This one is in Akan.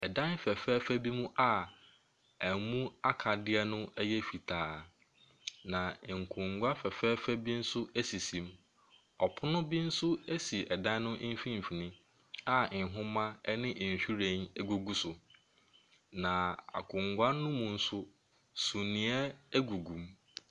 Dan fɛfɛɛfɛ bi mu a ɛmu a akadeɛ no ɛyɛ fitaa, na nkonnwa fɛfɛɛfɛ bi nso ɛsisi mu. Ɔpono bi nso ɛsi dan ne mfimfini a nwoma ɛne nhyiren, ɛgugu so. Na akonnwa ne mu nso, suneɛ ɛgugu mu.